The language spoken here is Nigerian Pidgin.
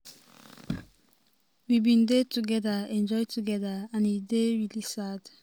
we bin dey togeda enjoy togeda and e dey really sad".